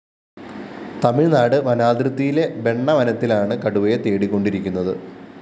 തമിഴ്‌നാട് വനാതിര്‍ത്തിയിലെ ബെണ്ണ വനത്തിലാണ് കടുവയെ തേടികൊണ്ടിരിക്കുന്നത്